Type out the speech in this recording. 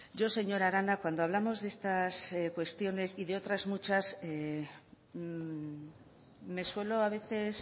yo señora arana cuando hablamos de estas cuestiones y de otras muchas me suelo a veces